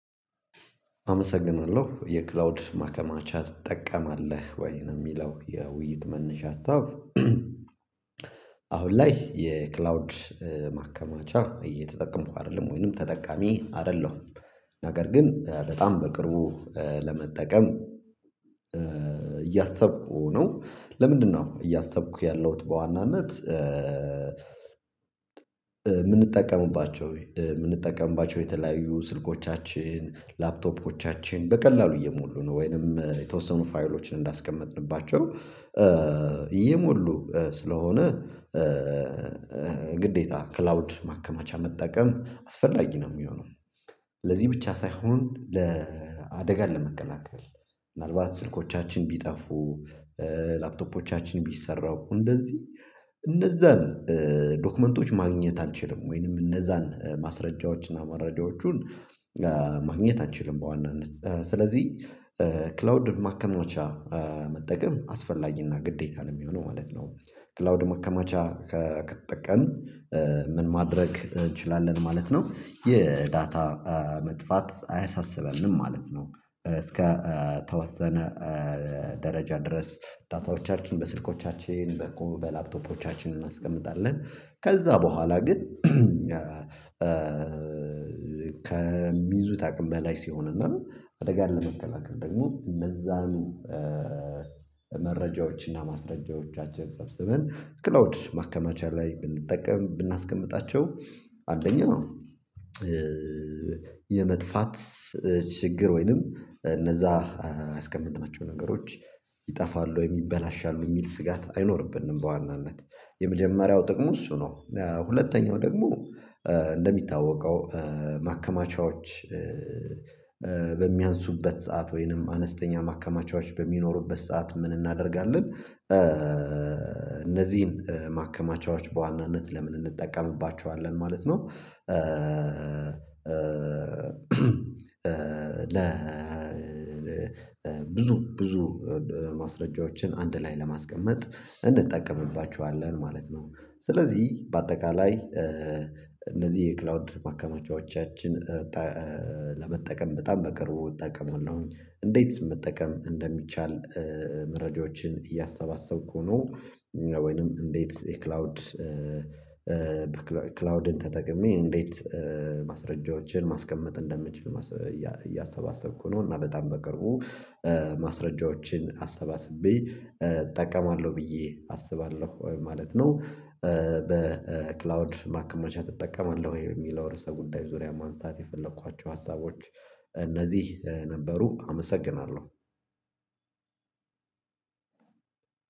አመሰግናለሁ የክላውድ ማከማቻ ትጠቀማለህ ወይን የሚለው የውይይት መነሻ ሀሳብ? አሁን ላይ የክላውድ ማከማቻ እየተጠቀምኩ አይደለም ወይንም ተጠቃሚ አይደለሁም ነገር ግን በጣም በቅርቡ ለመጠቀም እያሰብኩ ነው። ለምንድነው እያሰብኩ ያለሁት በዋናነት የምንጠቀምባቸው የምንጠቀምባቸው የተለያዩ ስልኮቻችን ላፕቶፖቻችን በቀላሉ እየሞሉ ነው ወይንም የተወሰኑ ፋይሎችን እንዳስቀመጥንባቸው እየሞሉ ስለሆነ። ግዴታ ክላውድ ማከማቻ መጠቀም አስፈላጊ ነው የሚሆነው። ለዚህ ብቻ ሳይሆን ለአደጋን ለመከላከል ምናልባት ስልኮቻችን ቢጠፉ ላፕቶፖቻችን ቢሰረቁ እንደዚህ እነዛን ዶክመንቶች ማግኘት አንችልም ወይንም እነዛን ማስረጃዎችን እና መረጃዎቹን ማግኘት አንችልም በዋናነት ስለዚህ ክላውድ ማከማቻ መጠቀም አስፈላጊና ግዴታ ነው የሚሆነው ማለት ነው። ክላውድ ማከማቻ ከተጠቀምን ምን ማድረግ እንችላለን ማለት ነው። የዳታ መጥፋት አያሳስበንም ማለት ነው። እስከ ተወሰነ ደረጃ ድረስ ዳታዎቻችን በስልኮቻችን በላፕቶፖቻችን እናስቀምጣለን ከዛ በኋላ ግን ከሚይዙት አቅም በላይ ሲሆን እና አደጋ ለመከላከል ደግሞ እነዛን መረጃዎች እና ማስረጃዎቻቸን ሰብስበን ክላውድ ማከማቻ ላይ ብንጠቀም ብናስቀምጣቸው አንደኛው የመጥፋት ችግር ወይንም እነዛ ያስቀምጥናቸው ነገሮች ይጠፋሉ ወይ ይበላሻሉ የሚል ስጋት አይኖርብንም። በዋናነት የመጀመሪያው ጥቅሙ እሱ ነው። ሁለተኛው ደግሞ እንደሚታወቀው ማከማቻዎች በሚያንሱበት ሰዓት ወይንም አነስተኛ ማከማቻዎች በሚኖሩበት ሰዓት ምን እናደርጋለን እነዚህን ማከማቻዎች በዋናነት ለምን እንጠቀምባቸዋለን ማለት ነው? ለ ብዙ ብዙ ማስረጃዎችን አንድ ላይ ለማስቀመጥ እንጠቀምባቸዋለን ማለት ነው። ስለዚህ በአጠቃላይ እነዚህ የክላውድ ማከማቻዎቻችን ለመጠቀም በጣም በቅርቡ እጠቀማለሁ። እንዴት መጠቀም እንደሚቻል መረጃዎችን እያሰባሰብኩ ሆኖ ወይንም እንዴት የክላውድ ክላውድን ተጠቅሜ እንዴት ማስረጃዎችን ማስቀመጥ እንደምችል እያሰባሰብኩ ነው እና በጣም በቅርቡ ማስረጃዎችን አሰባስቤ እጠቀማለሁ ብዬ አስባለሁ ማለት ነው። በክላውድ ማከመቻ ትጠቀማለህ ወይ የሚለው ርዕሰ ጉዳይ ዙሪያ ማንሳት የፈለኳቸው ሀሳቦች እነዚህ ነበሩ አመሰግናለሁ።